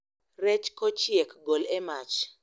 Rech kochiek, gol e mach